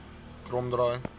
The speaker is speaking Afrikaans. kromdraai